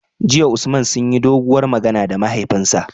JIya Usman sunyi doguwar magana da mahaifinsa